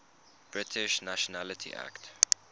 british nationality act